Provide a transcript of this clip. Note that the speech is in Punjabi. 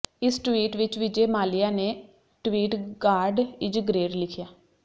ਇਸ ਟਵੀਟ ਵਿੱਚ ਵਿਜੇ ਮਾਲਿਆ ਨੇ ਟਵੀਟ ਗਾਡ ਇਜ਼ ਗ੍ਰੇਟ ਲਿਖਿਆ